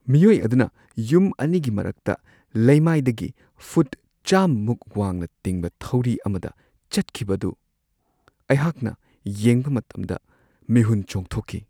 ꯃꯤꯑꯣꯏ ꯑꯗꯨꯅ ꯌꯨꯝ ꯑꯅꯤꯒꯤ ꯃꯔꯛꯇ ꯂꯩꯃꯥꯏꯗꯒꯤ ꯐꯨꯠ ꯆꯥꯃꯃꯨꯛ ꯋꯥꯡꯅ ꯇꯤꯡꯕ ꯊꯧꯔꯤ ꯑꯃꯗ ꯆꯠꯈꯤꯕ ꯑꯗꯨ ꯑꯩꯍꯥꯛꯅ ꯌꯦꯡꯕ ꯃꯇꯝꯗ ꯃꯤꯍꯨꯟ ꯆꯣꯡꯊꯣꯛꯈꯤ ꯫